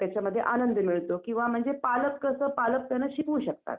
अ यावर्षी बघूचाललय जायच आता बघू काय होतंय माहितीच नाही